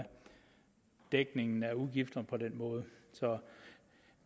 dækningen af udgifterne på den måde så